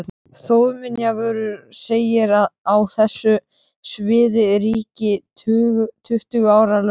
Þjóðminjavörður segir að á þessu sviði ríki tuttugu ára lögmál.